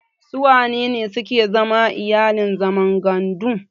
Sun wanene suke zama iyalin zaman gandu?